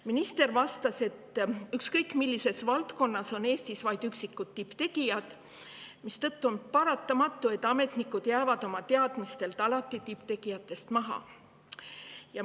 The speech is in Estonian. Minister vastas, et Eestis on ükskõik millises valdkonnas vaid üksikud tipptegijad, mistõttu on paratamatu, et ametnikud jäävad oma teadmistelt alati tipptegijatest maha.